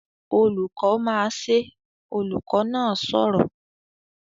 "Olùkọ́ máa ṣe!", olùkọ́ náà sọ̀rọ̀